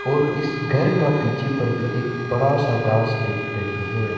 और इस घर का पीछे पर भी एक बड़ा सा घास देख रही है।